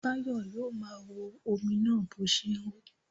Báyọ̀ yóò máa wo omi náà bó ṣe ń hó.